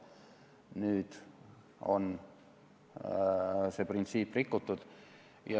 Nüüd on see printsiip rikutud.